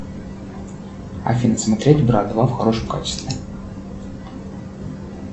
афина смотреть брат два в хорошем качестве